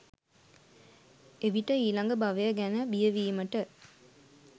එවිට ඊළඟ භවය ගැන බිය වීමට